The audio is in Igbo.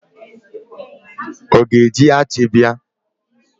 Ọ ga-eji achi bịa?